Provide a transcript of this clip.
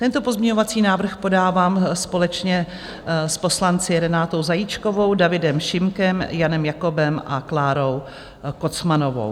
Tento pozměňovací návrh podávám společně s poslanci Renatou Zajíčkovou, Davidem Šimkem, Janem Jakobem a Klárou Kocmanovou.